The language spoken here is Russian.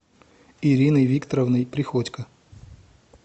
ириной викторовной приходько